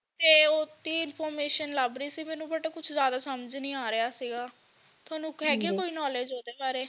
ਤੇ ਓਸਤੇ information ਲੱਭ ਰਹੀ ਸੀ ਮੈਨੂੰ but ਉਹ ਕੁਝ ਜਿਆਦਾ ਸਮਝ ਨਹੀਂ ਆ ਰਿਹਾ ਸੀਗਾ ਤੁਹਾਨੂੰ ਹੈਗੀ ਹੈ ਕੋਈ knowledge ਓਹਦੇ ਬਾਰੇ